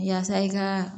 Yasa i ka